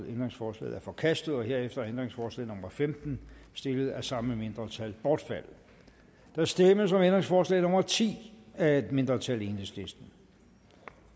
ændringsforslaget er forkastet herefter er ændringsforslag nummer femten stillet af det samme mindretal bortfaldet der stemmes om ændringsforslag nummer ti af et mindretal